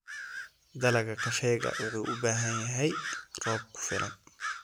Dalagga kafeega wuxuu u baahan yahay roob ku filan.